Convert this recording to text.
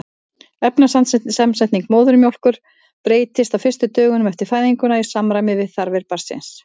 efnasamsetning móðurmjólkur breytist á fyrstu dögum eftir fæðinguna í samræmi við þarfir barnsins